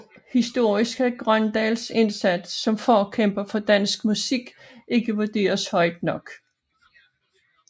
Historisk kan Grøndahls indsats som forkæmper for dansk musik ikke vurderes højt nok